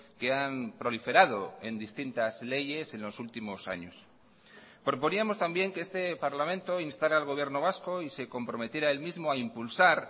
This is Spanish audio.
que han proliferado en distintas leyes en los últimos años proponíamos también que este parlamento instara al gobierno vasco y se comprometiera él mismo a impulsar